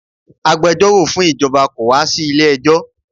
Agbẹjọ́rọ̀ fún ìjọba kò wá sí ilé-ẹjọ́